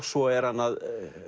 svo er hann að